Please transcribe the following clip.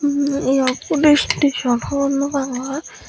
hmm eyot hudu station hogor no pangor.